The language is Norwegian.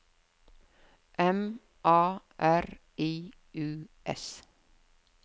M A R I U S